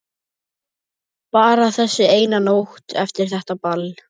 Bara þessi eina nótt eftir þetta ball.